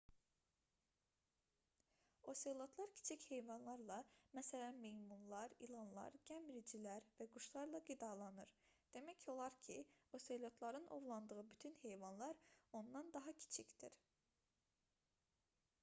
oselotlar kiçik heyvanlarla məs meymunlar ilanlar gəmiricilər və quşlarla qidalanır demək olar ki oselotların ovladığı bütün heyvanlar ondan daha kiçikdir